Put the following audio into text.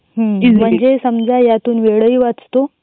म्हणजे समझ यातून वेळ हि वाचतो .